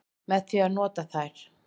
Með því að nota þær.